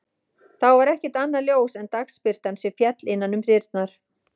Þá var ekkert annað ljós en dagsbirtan sem féll inn um dyrnar.